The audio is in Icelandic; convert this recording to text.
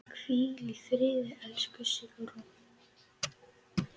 Hvíl í friði, elsku Sigrún.